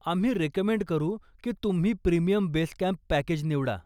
आम्ही रेकमेंड करू की तुम्ही प्रीमियम बेस कॅम्प पॅकेज निवडा.